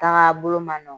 Taga bolo ma nɔgɔn